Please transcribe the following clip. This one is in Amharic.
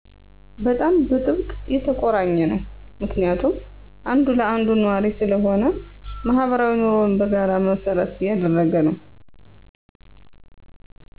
በጣም በጥብቅ የተቆራኘ ነው ምክንያቱም አንዱ ለአንዱ ኗሪ ስለሆነ፣ ማህበራዊ ኑሮው በጋራ መሰረት ያደረገ ነው።